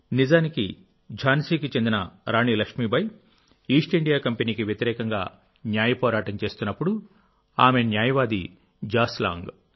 నిజానికిఝాన్సీకి చెందిన రాణి లక్ష్మీబాయి ఈస్టిండియా కంపెనీకి వ్యతిరేకంగా న్యాయ పోరాటం చేస్తున్నప్పుడుఆమె న్యాయవాది జాన్ లాంగ్